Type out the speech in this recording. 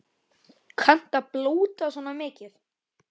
Kanntu að blóta svona mikið?